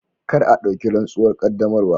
Kar a dauki rantsuwar qaddamarwa.